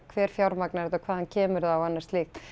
hver fjármagnar þetta og hvaðan kemur það og annað slíkt